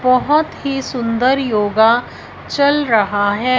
बहोत ही सुंदर योग चल रहा है।